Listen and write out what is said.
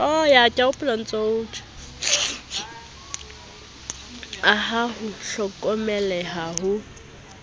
a ha ho hlokomeleha ho